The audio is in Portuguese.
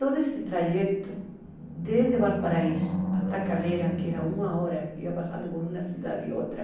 Todo esse trajeto, desde Valparaíso até Calera, que era uma hora, ia passando por uma cidade e outra.